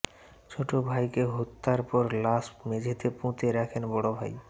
ছোট ভাইকে হত্যার পর লাশ মেঝেতে পুঁতে রাখেন বড় ভাই